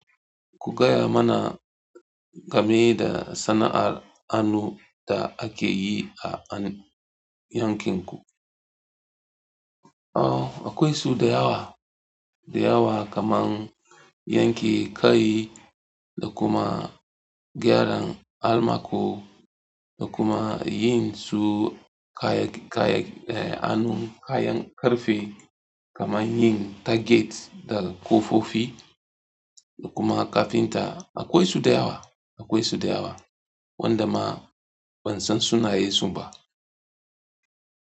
Ku gaya mana game da sana'ar hannu da ake yi a yankin ku. Oh, akwai sau da yawa, da yawa kaman yanki kai da kuma gyaran almaco da kuma yin su kaya, kaya, eh hannun kayan karfe kaman yin target da kofofi da kuma kafinta. Akwai su da yawa, akwai su da yawa wanda ma ban san sunayensu ba.